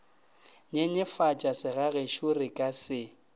nyenyefatša segagešo re ka se